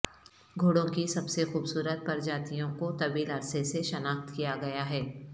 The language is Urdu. گھوڑوں کی سب سے خوبصورت پرجاتیوں کو طویل عرصہ سے شناخت کیا گیا ہے